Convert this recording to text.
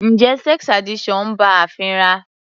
Njẹ́ sex addiction ń bá a fínra?